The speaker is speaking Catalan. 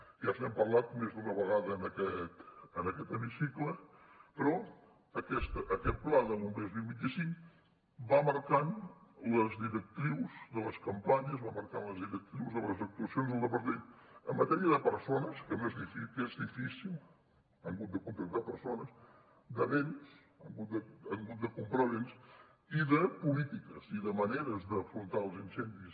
ja n’hem parlat més d’una vegada en aquest hemicicle però aquest pla bombers dos mil vint cinc va marcant les directrius de les campanyes va marcant les directrius de les actuacions del departament en matèria de persones que és difícil han hagut de contractar persones de béns han hagut de comprar béns i de polítiques i de maneres d’afrontar els incendis